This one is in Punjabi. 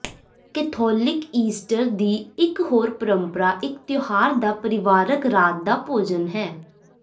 ਕੈਥੋਲਿਕ ਈਸਟਰ ਦੀ ਇਕ ਹੋਰ ਪਰੰਪਰਾ ਇੱਕ ਤਿਉਹਾਰ ਦਾ ਪਰਿਵਾਰਕ ਰਾਤ ਦਾ ਭੋਜਨ ਹੈ